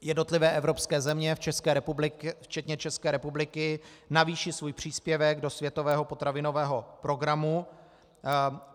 Jednotlivé evropské země včetně České republiky navýší svůj příspěvek do světového potravinového programu.